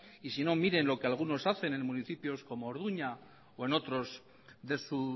y si no miren en lo que algunos hacen en municipios como orduña o en otros de su